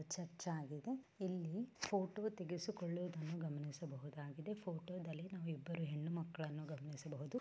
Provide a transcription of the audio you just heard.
Church ಆಗಿದೆ ಇಲ್ಲಿ photo ತೇಗಿಸುಕೊಳ್ಳೋದನ್ನು ಗಮನಿಸಬಹುದಾಗಿದೆ ಫೋಟೋದಲ್ಲಿ ನಾವ್ ಇಬ್ಬರು ಹೆಣ್ಣುಮಕ್ಕಳನ್ನು ಗಮನಿಸಬಹುದು.